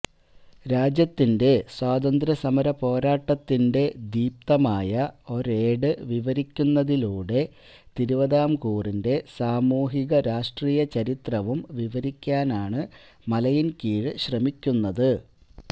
രാജ്യത്തിന്റെ സ്വാതന്ത്ര്യസമര പോരാട്ടത്തിന്റെ ദീപ്തമായ ഒരേട് വിവരിക്കുന്നതിലൂടെ തിരുവിതാംകൂറിന്റെ സാമൂഹിക രാഷ്ട്രീയചരിത്രവും വിവരിക്കാനാണ് മലയിന്കീഴ് ശ്രമിക്കുന്നത്